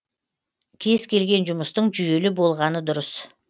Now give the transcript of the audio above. кез келген жұмыстың жүйелі болғаны дұрыс